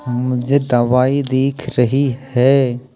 मुझे दवाई दिख रही है।